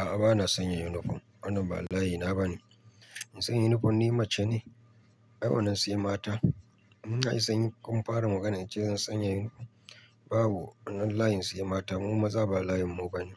A'a, bana sanya yunifom. Wannan ba layina ba ne. In san ya unifom ni mace ne, ai wannan sai mata. Mun sanyi kun fara magana in ce zan sanya unifom. Babu, wannan layin sai mata. Mu maza ba layin mu bane.